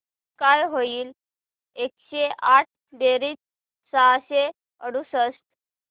काय होईल एकशे आठ बेरीज सहाशे अडुसष्ट